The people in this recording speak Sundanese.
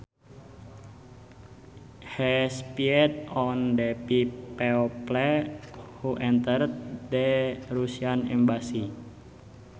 He spied on the people who entered the Russian embassy